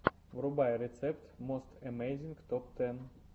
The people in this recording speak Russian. врубай рецепт мост эмейзинг топ тэн